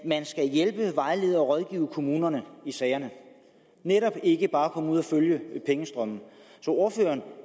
hjælpe vejlede og rådgive kommunerne i sagerne netop ikke bare komme ud og følge pengestrømmen ordføreren